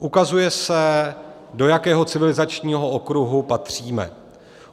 Ukazuje se, do jakého civilizačního okruhu patříme.